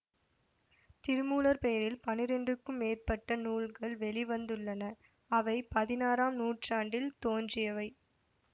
திருமூலர் பெயரில் பனிரெண்டுக்கும் மேற்பட்ட நூல்கள் வெளி வந்துள்ளன அவை பதினாறாம் நூற்றாண்டில் தோன்றியவை